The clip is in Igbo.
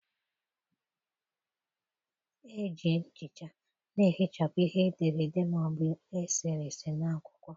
Eji nchicha na-ehichapụ ihe e dere ede ma ọ bụ e sere ese n'akwụkwọ.